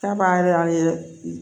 Taama yɛrɛ y'a ye